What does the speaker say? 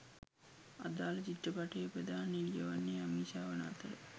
අදාල චිත්‍රපටයේ ප්‍රධාන නිළිය වන්නේ අමීෂා වන අතර